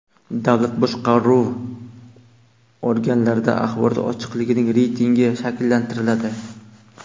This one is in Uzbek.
Davlat boshqaruvi organlarida axborot ochiqligining reytingi shakllantiriladi.